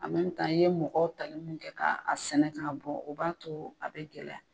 i ye mɔgɔw tali mun kɛ k'a sɛnɛ k'a bɔ o b'a to a be gɛlɛya.